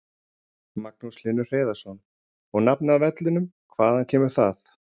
Magnús Hlynur Hreiðarsson: Og nafnið á vellinum, hvaðan kemur það?